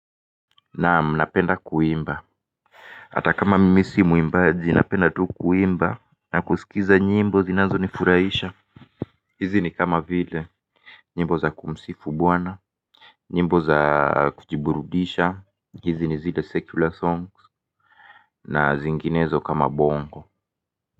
Naamu napenda kuimba hata kama mimi si muimbaji napenda tu kuimba na kusikiza nyimbo zinazonifuraisha. Hizi ni kama vile nyimbo za kumsifu bwana nyimbo za kujiburudisha. Hizi ni zile secular songs na zinginezo kama bongo.